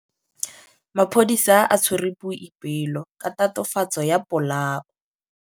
Maphodisa a tshwere Boipelo ka tatofatsô ya polaô.